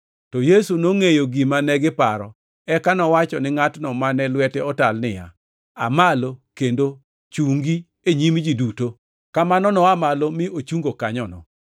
To Yesu nongʼeyo gima negiparo eka nowacho ni ngʼatno mane lwete otal niya, “Aa malo kendo chungi e nyim ji duto.” Kamano noa malo mi ochungo kanyono.